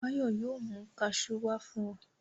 Báyọ̀ yóò mi kaṣú wá fún ọ.